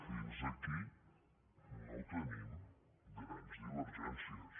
fins aquí no tenim grans divergències